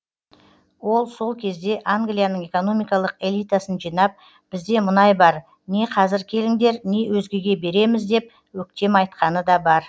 ол сол кезде англияның экономикалық элитасын жинап бізде мұнай бар не қазір келіңдер не өзгеге береміз деп өктем айтқаны да бар